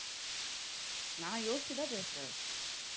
நான் யோசிச்சுதான் பேசறேன்